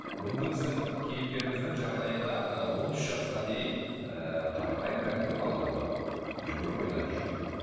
бүгінгі біздің кейіпкеріміздің жағдайында ы он үш жасқа дейін ыыы қарапайым кәдімгі бала болған жүгіріп ойнап жүрген